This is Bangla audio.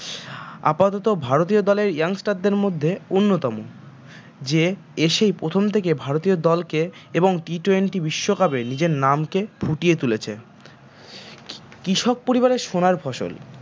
আপাতত ভারতীয় দলের young star দের মধ্যে অন্যতম যে এসেই প্রথম থেকে ভারতীয় দলকে এবং T twenty বিশ্বকাপে নিজের নামকে ফুটিয়ে তুলেছে কৃষক পরিবারে সোনার ফসল